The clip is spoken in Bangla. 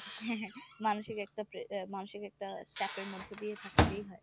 হ্যাঁ হ্যাঁ মানসিক একটা আহ মানসিক একটা চাপের মধ্য দিয়ে থাকতেই হয়।